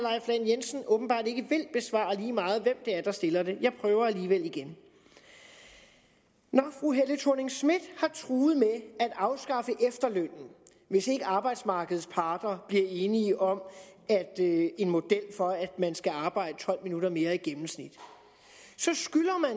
jensen åbenbart ikke vil besvare lige meget hvem det er der stiller det jeg prøver alligevel igen når fru helle thorning schmidt har truet med at afskaffe efterlønnen hvis ikke arbejdsmarkedets parter bliver enige om en model for at man skal arbejde tolv minutter mere i gennemsnit så skylder man